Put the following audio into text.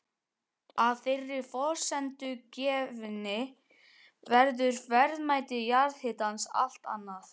Að þeirri forsendu gefinni verður verðmæti jarðhitans allt annað.